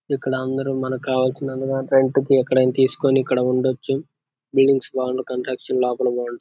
ఇక్కడ అందరు మనకి కావాల్సిన రెంట్ కి ఎక్కడైనా తీసుకుని ఇక్కడ ఉండొచ్చు. బిల్డింగ్స్ బాగుంటే కన్స్ట్రక్షన్ లోపల బాగుంటా --